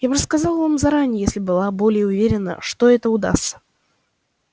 я бы сказала вам заранее если бы была более уверена что это удастся